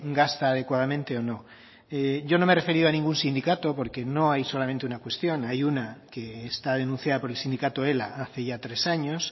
gasta adecuadamente o no yo no me he referido a ningún sindicato porque no hay solamente una cuestión hay una que está denunciada por el sindicato ela hace ya tres años